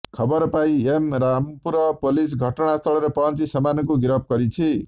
ଖବର ପାଇ M Rampur police ଘଟଣାସ୍ଥଳରେ ପହଞ୍ଚି ସେମାନଙ୍କୁ ଗିରଫ କରିଛି